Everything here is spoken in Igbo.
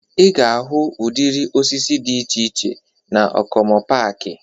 Ị ga-ahụ udịri osisi dị iche iche na Okomu paaki